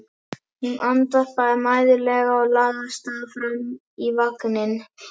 Hún andvarpaði mæðulega og lagði af stað fram í vagninn.